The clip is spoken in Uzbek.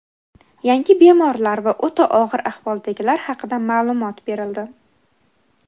Yangi bemorlar va o‘ta og‘ir ahvoldagilar haqida ma’lumot berildi.